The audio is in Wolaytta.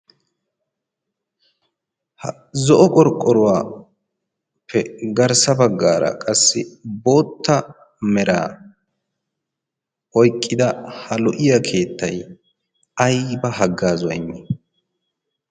ha zo'o qorqqoruwaappe garssa baggaara qassi bootta meraa oyqqida ha lo'iya keetty ayba haggaa zaynni?